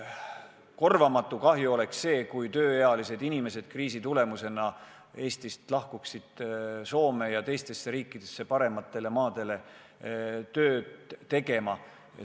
Korvamatu kahju oleks see, kui tööealised inimesed otsustaksid kriisi tõttu lahkuda Eestist Soome või teistesse riikidesse parematele jahimaadele tööd tegema.